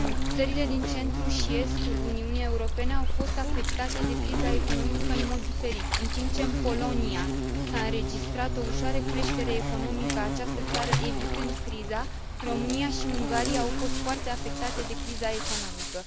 Țările din centrul și estul Uniunii Europene au fost afectate de criza economică în mod diferit în timp ce în Polonia s a înregistrat o ușoară creștere economică, această țară evitând criza, România și Ungaria au fost foarte afectate de criza economică.